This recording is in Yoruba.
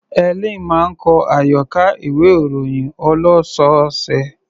Helen máa ń kọ àyọkà ìwé-ìròyìn ọlọ́sọ̀ọ̀sẹ̀.